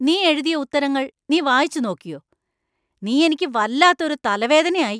നീ എഴുതിയ ഉത്തരങ്ങൾ നീ വായിച്ച്‌ നോക്കിയോ ? നീ എനിക്ക് വല്ലാത്ത ഒരു തലവേദനയായി.